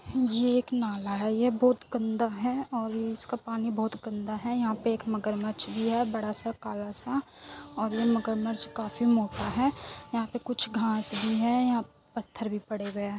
ये एक नाला है। ये बहुत गन्दा है और इस का पानी बहुत गन्दा है। यहाँ पे एक मगरमच्छ भी है बड़ा सा काला सा और ये मगरमच्छ काफी मोटा है। यहाँ पे कुछ घास भी है। यहाँ पत्थर भी पड़े हुए है।